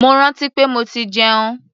Mo rántí pé mo ti jẹun.